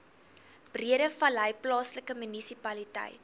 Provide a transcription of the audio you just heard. breedevallei plaaslike munisipaliteit